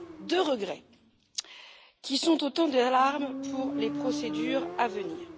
Deux regrets qui sont autant d'alarmes pour les procédures à venir.